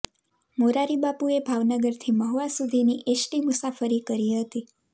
મોરારિ બાપુએ ભાવનગરથી મહુઆ સુધીની એસટી મુસાફરી કરી હતી